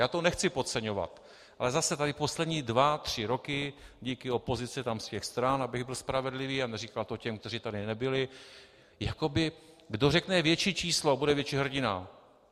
Já to nechci podceňovat, ale zase tady poslední dva tři roky díky opozici tam z těch stran , abych byl spravedlivý a neříkal to těm, kteří tady nebyli, jakoby kdo řekne větší číslo, bude větší hrdina.